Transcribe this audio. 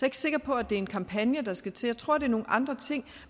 ikke sikker på at det er en kampagne der skal til jeg tror det er nogle andre ting